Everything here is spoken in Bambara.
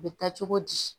U bɛ taa cogo di